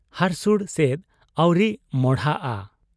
ᱦᱟᱹᱨᱥᱩᱲ ᱥᱮᱫ ᱟᱹᱣᱨᱤ ᱢᱚᱸᱦᱰᱟᱜ ᱟ ᱾